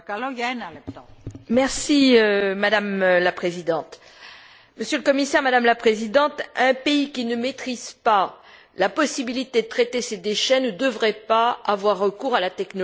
Madame la Présidente, Monsieur le Commissaire, Madame la Présidente, un pays qui ne maîtrise pas la possibilité de traiter ses déchets ne devrait pas avoir recours à la technologie dont les déchets sont issus.